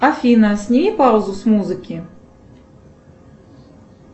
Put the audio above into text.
афина сними паузу с музыки